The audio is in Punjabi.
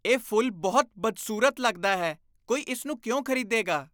ਇਹ ਫੁੱਲ ਬਹੁਤ ਬਦਸੂਰਤ ਲੱਗਦਾ ਹੈ। ਕੋਈ ਇਸ ਨੂੰ ਕਿਉਂ ਖ਼ਰੀਦੇਗਾ?